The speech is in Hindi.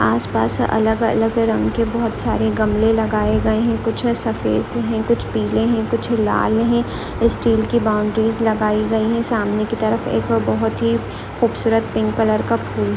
आसपास अलग अलग रंग के बहोत सारे गमले लगाए गए हैं कुछ सफेद हैं कुछ पीले हैं कुछ लाल हैं स्टील के बाउंड्रीस लगाई गई हैं सामने की तरफ एक बहोत ही खूबसूरत पिंक कलर का फूल --